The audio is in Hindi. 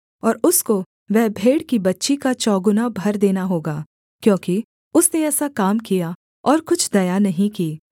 और उसको वह भेड़ की बच्ची का चौगुना भर देना होगा क्योंकि उसने ऐसा काम किया और कुछ दया नहीं की